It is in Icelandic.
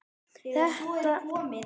Þetta gerðist allt út af misskilningi.